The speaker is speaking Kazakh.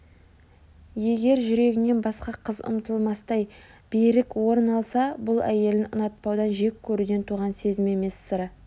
егер жүрегінен басқа қыз ұмытылмастай берік орын алса бұл әйелін ұнатпаудан жек көруден туған сезім емес сыры